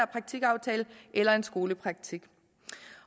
praktikaftale eller en skolepraktik